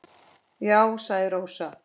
Já, sagði Rósa.